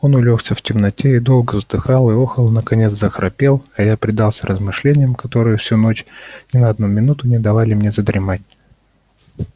он улёгся в темноте и долго вздыхал и охал наконец захрапел а я предался размышлениям которые всю ночь ни на одну минуту не дали мне задремать